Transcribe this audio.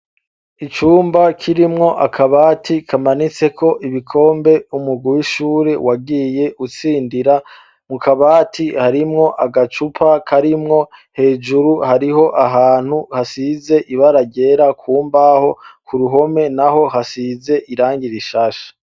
Icumba kirimwo akabati kamanitseko ibikombe umugwi w'ishuri wagiye utsindira. Mu kabati harimwo agacupa karimwo, hejuru hariho ahantu hasize ibara ryera ku mbaho ku ruhome naho hasize irangi rishasha.